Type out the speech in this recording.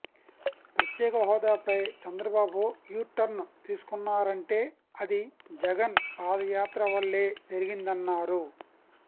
ప్రత్యేక హోదాపై చంద్రబాబు యూటర్న్ తీసుకున్నారంటే అది జగన్ పాదయాత్ర వల్లే జరిగిందన్నారు